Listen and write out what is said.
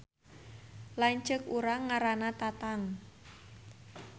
Lanceuk urang ngaranna Tatang